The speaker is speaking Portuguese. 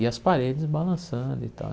e as paredes balançando e tal.